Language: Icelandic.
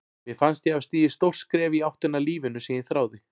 Mér fannst ég hafa stigið stórt skref í áttina að lífinu sem ég þráði.